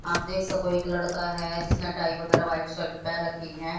आप देख सको एक लड़का है जिसने टाइ वगैरह व्हाइट शर्ट पहन रखी हैं।